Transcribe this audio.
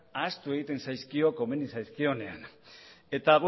ahaztu egiten zaizkio komeni zaizkionean eta